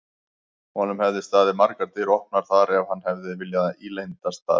Honum hefðu staðið margar dyr opnar þar ef hann hefði viljað ílendast þar.